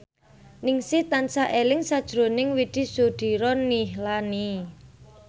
Ningsih tansah eling sakjroning Widy Soediro Nichlany